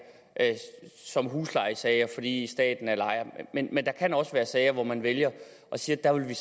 som huslejesager fordi staten er ejer men at der også kan være sager hvor man vælger at sige at der vil